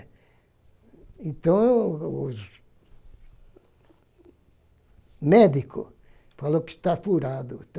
Então, os médico falou que está furado.